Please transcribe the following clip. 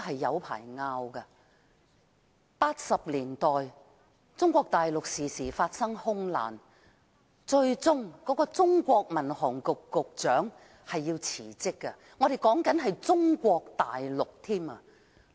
1980年代，中國大陸常常發生空難，最終中國民航局局長辭職，說的是中國大陸。